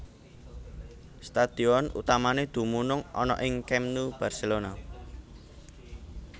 Stadion utamané dumunung ana ing Camp Nou Barcelona